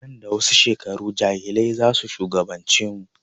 Nan da wasu shekaru jahilai zasu shugaban ce mu